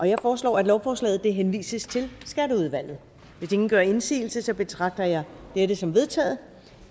jeg foreslår at lovforslaget henvises til skatteudvalget hvis ingen gør indsigelse betragter jeg dette som vedtaget